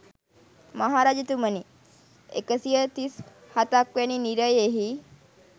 මහ රජතුමනි, එක සිය තිස් හතක් වන නිරයෙහි